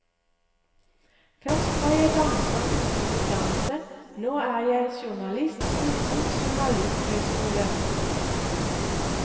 Først var jeg danser uten utdannelse, nå er jeg journalist uten journalisthøyskole.